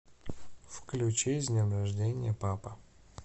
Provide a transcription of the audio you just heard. включи с днем рождения папа